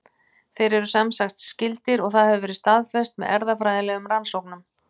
Þeir eru semsagt skyldir og það hefur verið staðfest með erfðafræðilegum rannsóknum.